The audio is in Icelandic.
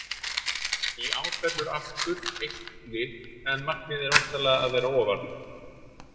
Í ár fellur aftur eitt lið en markmiðið er væntanlega að vera ofar?